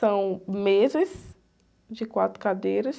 São mesas de quatro cadeiras.